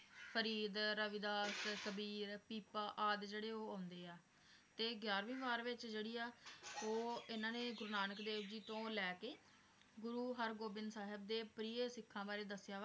ਫ਼ਰੀਦ, ਰਵਿਦਾਸ ਕਬੀਰ, ਪੀਪਾ ਆਦਿ ਜਿਹੜੇ ਆ ਉਹ ਆਉਂਦੇ ਆ ਤੇ ਗਿਆਰਵੀਂ ਵਾਰ ਵਿਚ ਜਿਹੜੀ ਆ ਉਹ ਇਹਨਾਂ ਨੇ ਗੁਰੂ ਨਾਨਕ ਦੇਵ ਜੀ ਤੋਂ ਲੈਕੇ, ਗੁਰੂ ਹਰਗੋਬਿੰਦ ਸਾਹਿਬ ਦੇ ਪ੍ਰਿਯ ਸਿੱਖਾਂ ਬਾਰੇ ਦੱਸਿਆ ਵਾ ਤੇ